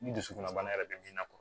Ni dusukunna bana yɛrɛ bɛ min na